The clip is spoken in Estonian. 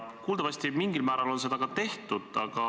Kuuldavasti mingil määral on seda ka tehtud.